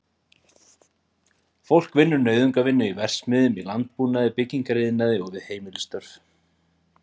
Fólk vinnur nauðungarvinnu í verksmiðjum, í landbúnaði, byggingariðnaði og við heimilisstörf.